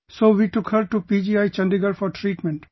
So we took her to PGI Chandigarh for treatment